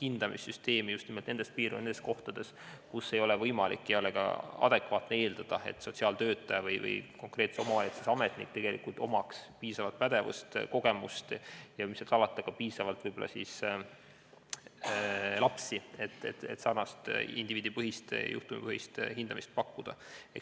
hindamissüsteemi just nimelt nendes piirkondades, kus ei ole võimalik ega adekvaatne eeldada, et sotsiaaltöötaja või konkreetse omavalitsuse ametnik omaks piisavat pädevust, kogemust ja, mis seal salata, ka piisavalt lapsi, et indiviidi- või juhtumipõhist hindamist pakkuda.